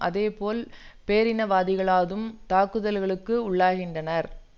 அதே போல் பேரினவாதிகளதும் தாக்குதல்களுக்கு உள்ளாகின்றனர்